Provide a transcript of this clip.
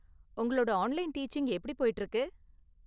உங்களோட online teaching எப்படி போய்ட்டு இருக்கு?